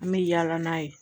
An bɛ yaala n'a ye